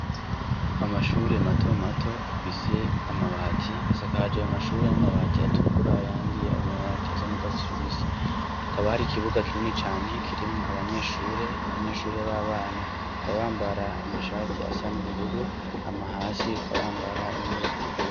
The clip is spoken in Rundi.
Amashure mato mato afise amabati asakahajawe amashure n'amabati atukura yandiye amabati asa n'ugwa tijubisi hakaba hari ikibuga kinini cane kirimwo abanyeshure abanyeshure b'abana kabambara amashati asa n'ubururu amahasi akabambara impuzu zitukuwe.